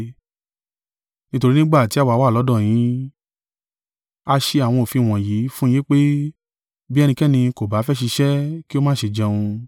Nítorí nígbà tí àwa wà lọ́dọ̀ yín, a ṣe àwọn òfin wọ̀nyí fún un yín pé, “Bí ẹnikẹ́ni kò bá fẹ́ ṣiṣẹ́, kí ó má ṣe jẹun.”